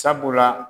Sabula